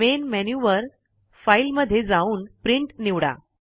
main menu वर file मध्ये जाऊन प्रिंट निवडा